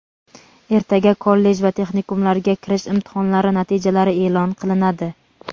Ertaga kollej va texnikumlarga kirish imtihonlari natijalari eʼlon qilinadi.